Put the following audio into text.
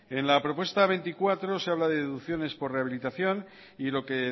en la propuesta veinticuatro se habla de deducciones por rehabilitación y lo que